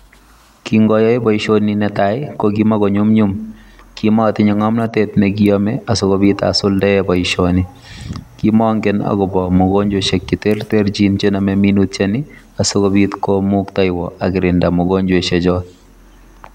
Kikoyaak baishoni netai kokimakonyumnyum akimatinye ngamnatet nekiyame akikobit asulda baishoni akomange akobo mugojwa cheterterchin chename asikobit komuktaiwon kokirindo mugojwaishek chon